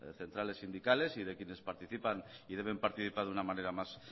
centrales sindicales y de quienes participan y deben participar de una manera más